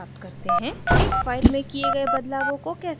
एक file में किये गए बदलावों को कैसे हटाते हैं और